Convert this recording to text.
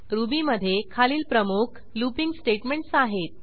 ruby मधे खालील प्रमुख लूपिंग स्टेटमेंटस आहेत